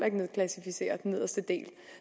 ikke nedklassificere den nederste del